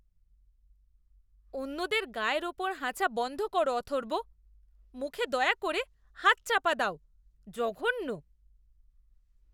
অন্যদের গায়ের ওপর হাঁচা বন্ধ করো, অথর্ব। মুখে দয়া করে হাত চাপা দাও। জঘন্য!